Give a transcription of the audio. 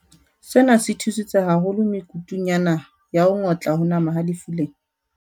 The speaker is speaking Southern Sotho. Sena se thusitse haholo me kutung ya naha ya ho ngotla ho nama ha lefu lena.